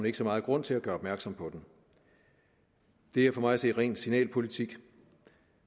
ikke så meget grund til at gøre opmærksom på den det er for mig at se ren signalpolitik